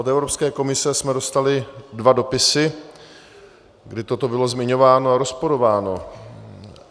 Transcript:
Od Evropské komise jsme dostali dva dopisy, kdy toto bylo zmiňováno a rozporováno.